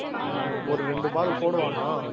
ஆஹ் ஒரு ரெண்டு ball போடுவானாம்